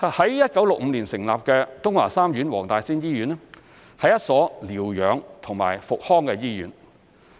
於1965年成立的東華三院黃大仙醫院是一所療養和復康醫院。